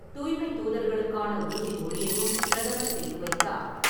தூய்மை தூதர்களுக்கான உறுதி மொழியையும் பிரதமர் செய்து வைத்தார்.